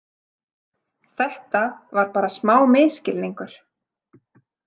Þetta var bara smá misskilningur.